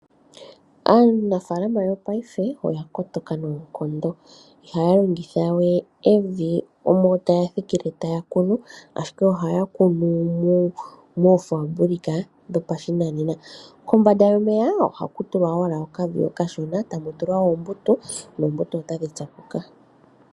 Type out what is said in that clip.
Aanafaalama yopaife oya kotoka noonkondo ihaya longitha we evi ano taya thikile ashike taya kunu ashike oyeli haya kunu moofaambulika dhoka dhopashinanena hadhi kokitha iimeno mbala.